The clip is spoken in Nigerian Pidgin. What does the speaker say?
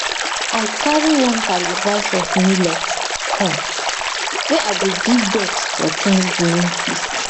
i carry one calabash of millet come wey i give ducks for thanksgiving feast